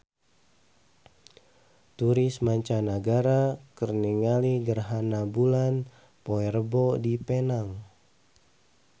Turis mancanagara keur ningali gerhana bulan poe Rebo di Penang